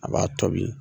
A b'a tobi